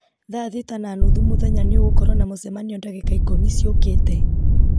thaa thita na nuthu mũthenya nĩ ũgũkorwo na mũcemanio ndagĩka ikũmi ciũkĩte